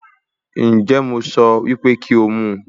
Ǹjẹ́ mo sọ wípé kí ó mu